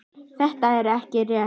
Þetta er ekki rétt.